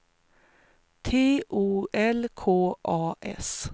T O L K A S